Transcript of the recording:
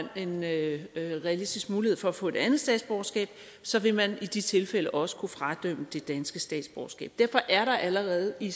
en realistisk mulighed for at få et andet statsborgerskab så vil man i de tilfælde også kunne fradømme det danske statsborgerskab derfor er der allerede i